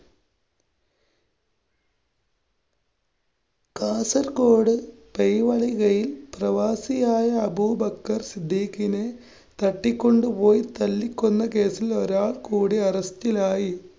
കാസര്‍ഗോഡ്‌ കയില്‍ പ്രവാസിയായ അബൂബക്കര്‍ സിദ്ദിക്കിനെ തട്ടിക്കൊണ്ടുപോയി തല്ലിക്കൊന്ന കേസില്‍ ഒരാള്‍ കൂടി arrest ലായി.